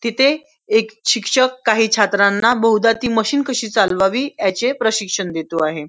तिथे एक शिक्षक काही छात्रांना ती मशीन कशी चालवावी याचे प्रशिक्षण देतो आहे.